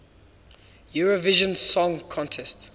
eurovision song contest